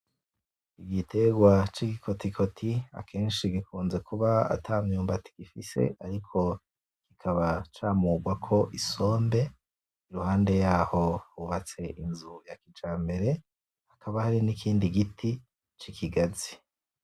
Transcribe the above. Igiterwa cigikotikoti akenshi gikunze kuba atamyumbati gifise, ariko kikaba camugwako isombe iruhande yaho hubatse inzu yakijambere, hakaba hari N’ikindi giti cikigazi .